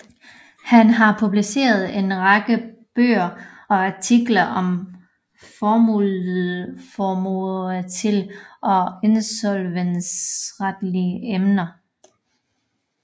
Han har publiceret en række bøger og artikler om formueretlige og insolvensretlige emner